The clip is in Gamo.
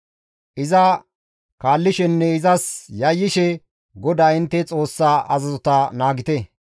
Iza kaallishenne izas yayyishe GODAA intte Xoossaa azazota naagite.